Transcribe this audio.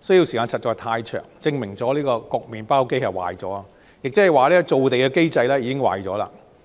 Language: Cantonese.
需時實在太長，證明焗麵包機壞了，亦即造地的機制已經出現了問題。